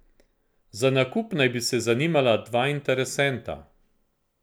Za nakup naj bi se zanimala dva interesenta.